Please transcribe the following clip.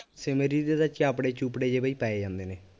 shimmery ਦੇ ਤਾਂ ਚਾਪੜੇ ਚੂਪੜੇ ਜਿਹੇ ਬਈ ਪੈ ਜਾਂਦੇ ਨੇ